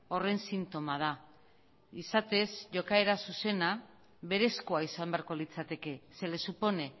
horren sintoma da izatez jokaera zuzena berezkoa izan beharko litzateke se le supone